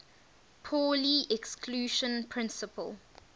pauli exclusion principle